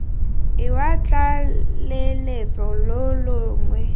lwa tlaleletso lo lo longwe